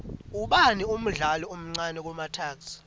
ubani umdlali omcani kumatuks